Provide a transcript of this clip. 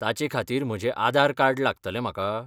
ताचेखातीर म्हजें आधार कार्ड लागतलें म्हाका?